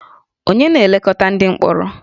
Ònye na-elekọta ndị mkpọrọ?